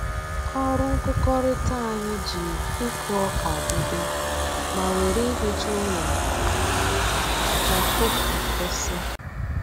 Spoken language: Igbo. Ọrụ nkụkọrịta anyị ji ịkụ ọka bido ma were ihicha ụlọ ọkụkọ kwụsị